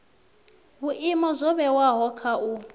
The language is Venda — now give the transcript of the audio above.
vhuimo zwo vhewaho kha u